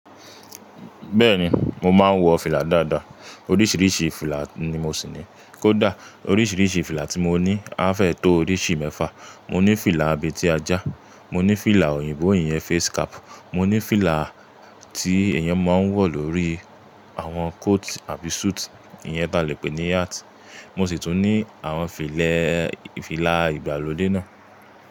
Bẹ́ẹ̀ni, mo máa ń wọ fìlà dáadáa, oríṣiríṣi fìlà ni mo sì ní. Kódà oríṣiríṣi fìlà tí mo ní á fẹ́ tó oríṣi mẹ́fà. Mo ní fìlà abẹ́ti a já, mo ní fìlà òyìnbó iyen face cap, mo ní fìlà tí èèyàn máa ń wọ̀ lórí àwọn coat àbí suit, ìyẹn ta le pé ní hat, mo sì tún ní àwọn fìlà ìgbàlódé náà.